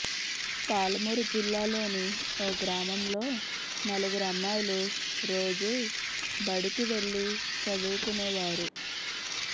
పాలమూరు జిల్లాలోని ఓ గ్రామంలో నలుగురమ్మాయిలు రోజూ బడికి వెళ్లి చదువుకునేవారు